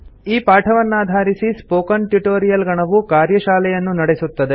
ಈ ಪಾಠವನ್ನಾಧಾರಿಸಿ spoken tutorial ಗಣವು ಕಾರ್ಯಶಾಲೆಯನ್ನು ನಡೆಸುತ್ತದೆ